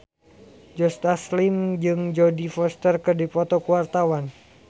Joe Taslim jeung Jodie Foster keur dipoto ku wartawan